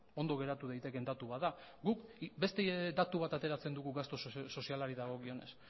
ondo geratu daitekeen datu bat da guk beste datu bat ateratzen dugu gastu sozialari dagokionez